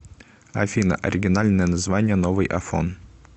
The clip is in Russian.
афина оригинальное название новый афон